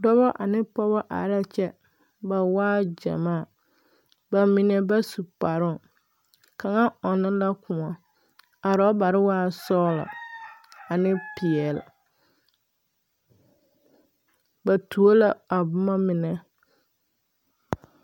Dɔba ane pɔgeba are kyɛ, ba waa gyamaa, ba mine bas u kparooŋ kaŋa ɔnnɔ na kõɔ a orɔbare waa sɔgelɔ ane peɛle. Ba tuo la boma mine.